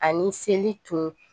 Ani seli tun